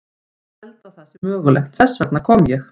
Ég held að það sé mögulegt, þess vegna kom ég.